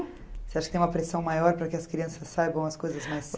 Você acha que tem uma pressão maior para que as crianças saibam as coisas mais